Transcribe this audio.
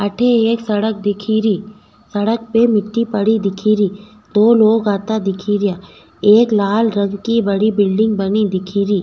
अठे एक सड़क दिखेरी सड़क पे मिट्टी पड़ी दिखेरी दो लोग आता दिख रिया एक लाल रंग की बनी बड़ी बिल्डिंग दिखेरी।